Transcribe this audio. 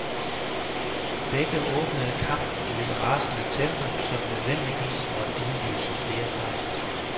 Begge åbnede kampen i et rasende tempo, som nødvendigvis måtte udløse flere fejl.